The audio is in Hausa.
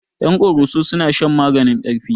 Ƴan koroso suna shan maganin ƙarfi